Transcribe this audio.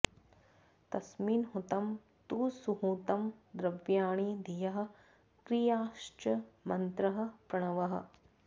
तस्मिन्हुतं तु सुहुतं द्रव्याणि धियः क्रियाश्च मन्त्रः प्रणवः